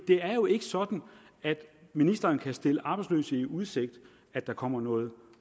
det er jo ikke sådan at ministeren kan stille arbejdsløse i udsigt at der kommer noget